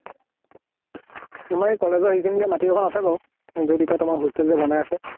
তোমাৰ এই college ৰ এইখিনিতে মাটি কন আছে বাউ যʼত এতিয়া তোমাৰ hostel যে বনাই আছে।